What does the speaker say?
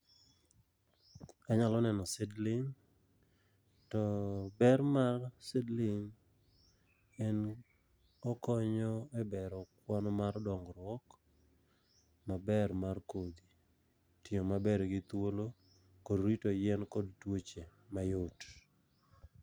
Anyalo neno seedling, to ber mar seedling en okonyo e bero kwan mar dongruok maber mar kodhi. Tiyo maber gi thuolo, kod rito yien kod tuoche ma yot.